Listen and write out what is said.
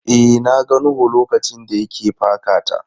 E, na ga Nuhu lokacin da ya ke paka ta.